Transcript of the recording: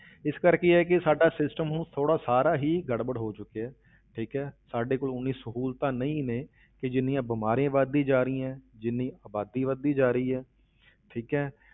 ਇਸ ਕਰਕੇ ਇਹ ਆ ਕਿ ਸਾਡਾ system ਹੁਣ ਥੋੜ੍ਹਾ ਸਾਰਾ ਹੀ ਗੜਬੜ ਹੋ ਚੁੱਕਿਆ ਠੀਕ ਹੈ ਸਾਡੇ ਕੋਲ ਉਨੀ ਸਹੂਲਤਾਂ ਨਹੀਂ ਨੇ ਕਿ ਜਿੰਨੀਆਂ ਬਿਮਾਰੀਆਂ ਵੱਧਦੀਆਂ ਜਾ ਰਹੀਆਂ, ਜਿੰਨੀ ਆਬਾਦੀ ਵੱਧਦੀ ਜਾ ਰਹੀ ਹੈ ਠੀਕ ਹੈ